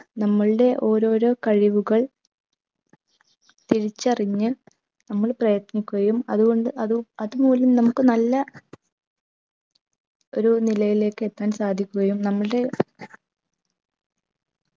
നമ്മൾടെ ഓരോരോ കഴിവുകൾ തിരിച്ചറിഞ്ഞ് നമ്മൾ പ്രയത്നിക്കുകയും അതുകൊണ്ട് അത് അതുമൂലം നമുക്ക് നല്ല ഒരു നിലയിലേക്കെത്താൻ സാധിക്കുകയും നമ്മൾടെ